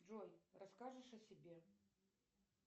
джой расскажешь о себе